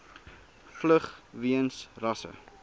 vlug weens rasse